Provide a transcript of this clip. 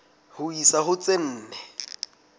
ho isa ho tse nne